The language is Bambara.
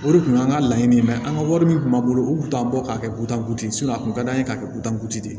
O de kun ye an ka laɲini ye an ka wari min tun b'a bolo u tun t'an bɔ ka kɛ kutanku ye a kun ka d'an ye k'a kɛ kutankutigi de ye